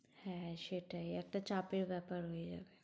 হ্যাঁ সেটাই একটা চাপের ব্যাপার হয়ে যাবে।